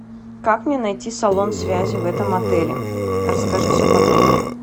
как мне найти салон связи в этом отеле расскажи все подробно